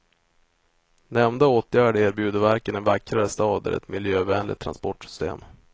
Nämnda åtgärd erbjuder varken en vackrare stad eller ett miljövänligt transportsystem.